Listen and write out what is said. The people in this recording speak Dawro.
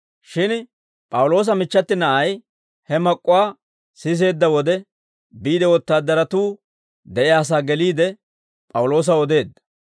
Shin P'awuloosa michchati na'ay he mak'k'uwaa siseedda wode, biide wotaadaratuu de'iyaasaa geliide, P'awuloosaw odeedda.